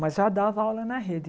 Mas já dava aula na rede.